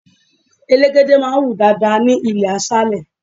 Elégède máa ń wù dáadáa ní ilé aṣálé.